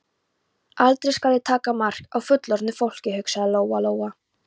Aldrei skal ég taka mark á fullorðnu fólki, hugsaði Lóa-Lóa.